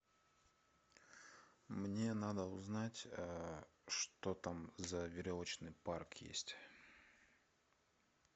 мне надо узнать что там за веревочный парк есть